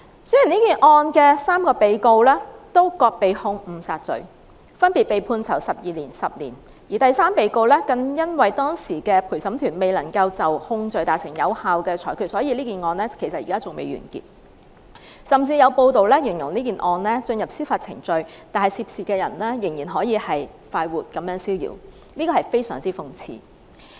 雖然這宗案件的3名被告均被控誤殺罪，分別被判囚12年和10年，而第三被告更因當時的陪審團未能就控罪達成有效的裁決，以致這宗案件至今仍未完結，甚至有報道形容這宗案件雖然進入司法程序，但涉事人仍然逍遙快活，這是非常諷刺的。